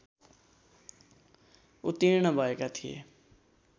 उत्तीर्ण भएका थिए